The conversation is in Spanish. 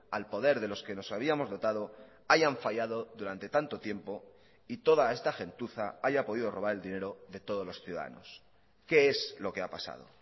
al poder de los que nos habíamos dotado hayan fallado durante tanto tiempo y toda esta gentuza haya podido robar el dinero de todos los ciudadanos qué es lo que ha pasado